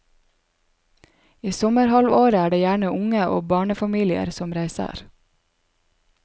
I sommerhalvåret er det gjerne unge og barnefamilier som reiser.